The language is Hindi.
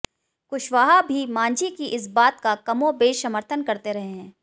कुशवाहा भी मांझी की इस बात का कमोबेश समर्थन करते रहे हैं